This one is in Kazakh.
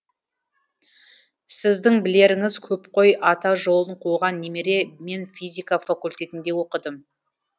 сіздің білеріңіз көп қой ата жолын қуған немере мен физика факультетінде оқыдым